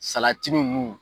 nunnu